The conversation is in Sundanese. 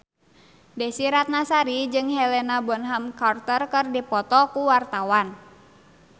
Desy Ratnasari jeung Helena Bonham Carter keur dipoto ku wartawan